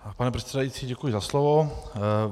Pane předsedající, děkuji za slovo.